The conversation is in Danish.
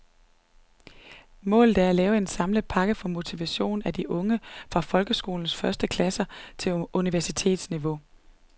Målet er at lave en samlet pakke for motivation af de unge fra folkeskolens første klasser til universitetsniveau.